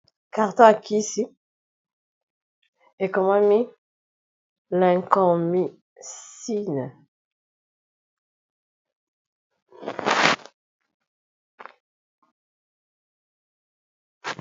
Carton yakisi ekomami Lincomycine.